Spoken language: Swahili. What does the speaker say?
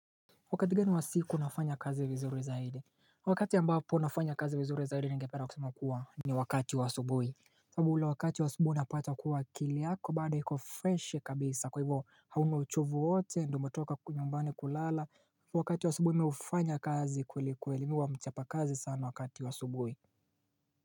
Wakati gani wa siku nafanya kazi vizuri zaidi wakati ambapo nafanya kazi vizuri zaidi ningependa kusema kuwa ni wakati wa asubuhi sababuule wakati wa asubuhi unapata kuwa akiliyako bado iko fresh kabisa kwa hivyo hauna uchovu wowote ndiyo umetoka nyumbani kulala wakati wa asubuhi mimihufanya kazi kweli kwelimimihuwa mchapa kazi sana wakati wa asubuhi.